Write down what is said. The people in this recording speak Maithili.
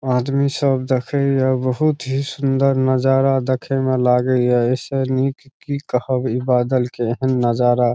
आदमी सब देखई ये बहुत ही सुन्दर नज़ारा देखे में लागे हिया इससे नीक की कहो इ बादल के हेन नज़ारा।